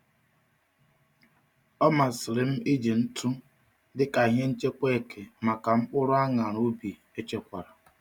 Ọ masịrị m iji ntụ dị ka ihe nchekwa eke maka mkpụrụ añara ubi echekwara.